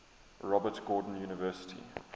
robert gordon university